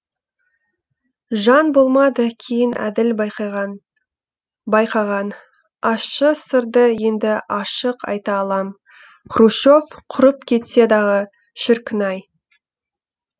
жан болмады кейін әділ байқаған ащы сырды енді ашық айта алам хрущев құрып кетсе дағы шіркінай